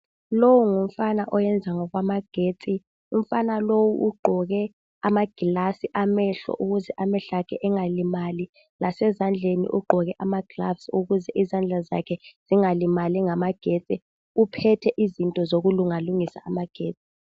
Lowu ngumfana oyenza ngokwagetsi. Umfana lowu ugqoke amaglasi amehlo ukuze amehlo akhe engalimali, Lasezandleni ugqoke amaglavisi ukuze izandla zakhe zingalimali ngamagetsi. Uphethe izinto zokulungalungisa amagetsi.